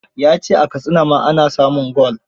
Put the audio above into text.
Ya ce a Katsina ma ana samun gwal.